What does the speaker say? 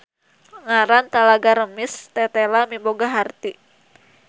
Ngaran Talaga Remis tetela miboga harti.